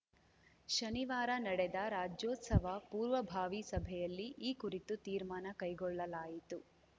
ಶನಿವಾರ ನಡೆದ ರಾಜ್ಯೋತ್ಸವ ಪೂರ್ವಭಾವಿ ಸಭೆಯಲ್ಲಿ ಈ ಕುರಿತು ತೀರ್ಮಾನ ಕೈಗೊಳ್ಳಲಾಯಿತು